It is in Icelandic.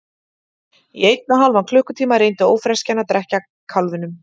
Í einn og hálfan klukkutíma reyndi ófreskjan að drekkja kálfinum.